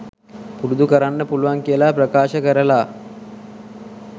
පුරුදු කරන්න පුළුවන් කියලා ප්‍රකාශ කරලා